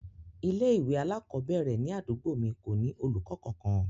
Ilé ìwé alakobere ni àdúgbò mi ko ni olùkọ kankan.